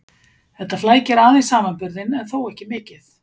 Þetta flækir aðeins samanburðinn en þó ekki mikið.